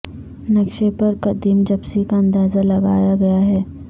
نقشے پر قدیم جپسی کا اندازہ لگایا گیا ہے